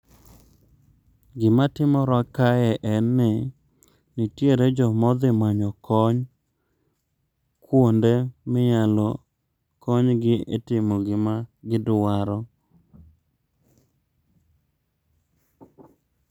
Gima timore kae en ni, nitiere jomodhi manyo kony kuonde minyalo konygi e timo gima gidwaro.